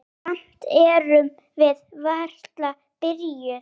Samt erum við varla byrjuð.